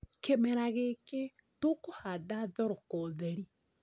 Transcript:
Kĩmera gĩkĩ tũkũhanda thoroko theri